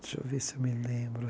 Deixa eu ver se eu me lembro.